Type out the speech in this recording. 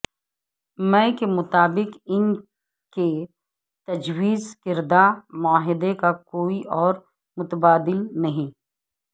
مے کے مطابق ان کے تجویز کردہ معاہدے کا کوئی اور متبادل نہیں